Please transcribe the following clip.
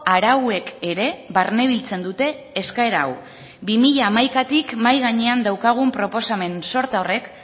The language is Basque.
arauek ere barnebiltzen dute eskaera hau bi mila hamaikatik mahai gainean daukagun proposamen sorta horrek